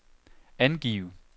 angiv